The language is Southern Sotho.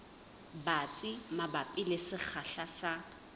batsi mabapi le sekgahla sa